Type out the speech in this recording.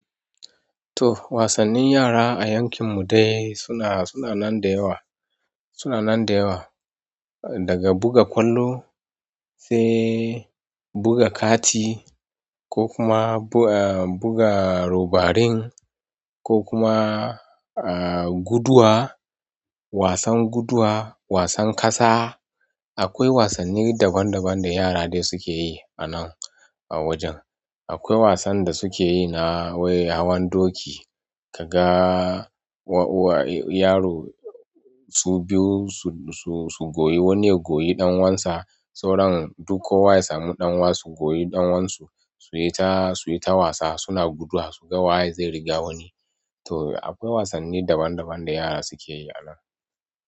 To wasannin yara a yankin mu dai suna, suna nan da yawa, suna nan da yawa. Daga buga ƙwallo sai buga kati, ko kuma buga robarin ko kuma guduwa, wasan guduwa, wasan ƙasa. Akwai wasanni daban daban da yara dai suke yi a nan a wajen. Akwai wasan da suke yi na wai hawan doki. Kaga yaro su biyu su, su goyi wani ya goyi ɗan uwansa sauran duk kowa ys samu ɗan uwan su goyi ɗan uwan su, su yi ta, su yi ta wasa suna guduwa su ga waye zai riga wani. To akwai wasanni daban daban da yara suke yi a nan.